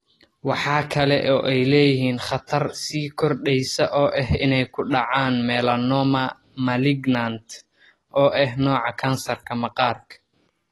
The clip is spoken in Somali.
Waxa kale oo ay leeyihiin khatar sii kordhaysa oo ah inay ku dhacaan melanoma malignant, oo ah nooca kansarka maqaarka.